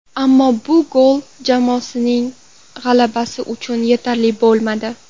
Ammo bu gol jamoasining g‘alabasi uchun yetarli bo‘lmadi.